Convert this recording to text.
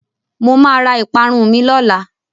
Mo máa ra ìparun mi lọ́la.